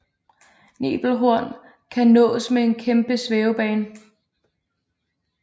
Nebelhorn kan nås med en kæmpe svævebane